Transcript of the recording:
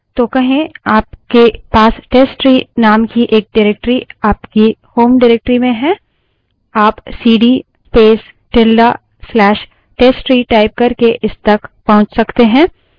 तो कहें आपके पास testtree name की एक directory आपकी home directory में है आप cd space tilde slash testtree type करके इस तक पहुँच सकते हैं